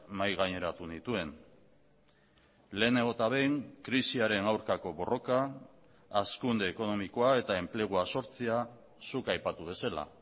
mahai gaineratu nituen lehenengo eta behin krisiaren aurkako borroka hazkunde ekonomikoa eta enplegua sortzea zuk aipatu bezala